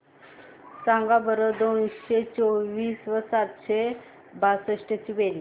सांगा बरं दोनशे चोवीस व सातशे बासष्ट ची बेरीज